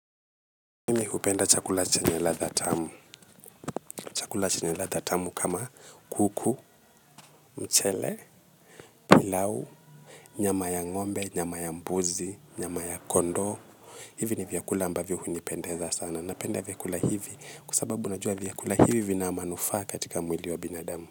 Upenda chakula chenye ladha tamu. Chakula chenye ladha tamu kama kuku, mchele, pilau, nyama ya ngombe, nyama ya mbuzi, nyama ya kondoo. Hivi ni vyakula ambavyo unipendeza sana. Napenda vyakula hivi kwasababu unajua vyakula hivi vina manufaa katika mwili wa binadamu.